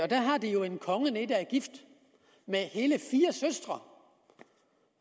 der har de jo en konge der er gift med hele fire søstre